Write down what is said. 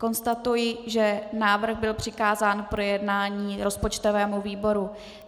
Konstatuji, že návrh byl přikázán k projednání rozpočtovému výboru.